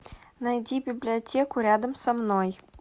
найди библиотеку рядом со мной